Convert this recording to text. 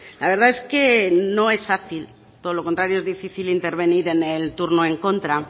la verdad es que no es fácil todo lo contrario es difícil intervenir en el turno en contra